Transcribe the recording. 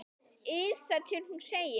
ið þar til hún segir